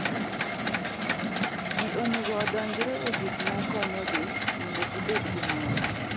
Ji onego odonjre e gik ma konyogi mondo gibed gi mor.